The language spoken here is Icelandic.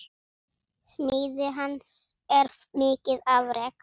Smíði hans er mikið afrek.